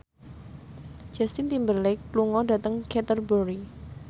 Justin Timberlake lunga dhateng Canterbury